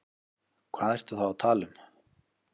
Hvað ertu þá að tala um?